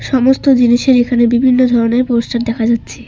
সমস্ত জিনিসের এখানে বিভিন্ন ধরনের পোস্টার দেখা যাচ্ছে।